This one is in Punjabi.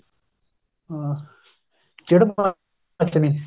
ਹਾਂ ਚਿੜ ਮੱਚਣੀ